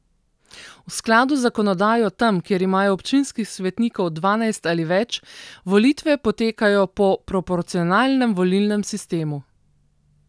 V skladu z zakonodajo tam, kjer imajo občinskih svetnikov dvanajst ali več, volitve potekajo po proporcionalnem volilnem sistemu.